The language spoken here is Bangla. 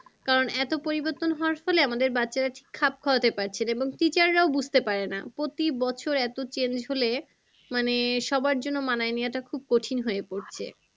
কারণ এতো পরিবর্তন হাওয়ায় ফলে আমাদের বাচ্চারা ঠিক খাপ খাওয়াতে পাচ্ছে না। এবং teacher রাও বুঝতে পারে না। প্রতি বছর এতো change হলে মানে সবার জন্য মানিয়ে নেওয়াটা খুব কঠিন হয়ে পড়ছে।